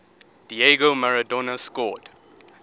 diego maradona scored